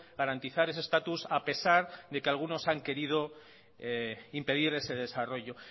garantizar ese estatus a pesar de que algunos han querido impedir ese desarrollo